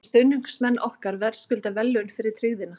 En stuðningsmenn okkar verðskulda verðlaun fyrir tryggðina.